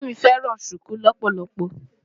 Ìyá mi fẹ́ràn ṣùkú lọ́pọ̀lọpọ̀.